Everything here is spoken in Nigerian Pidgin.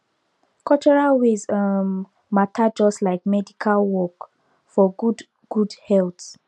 cultural ways um matter just like medical work for good good health